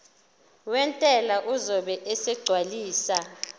wentela uzobe esegcwalisa